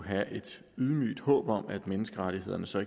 have et ydmygt håb om at menneskerettighederne så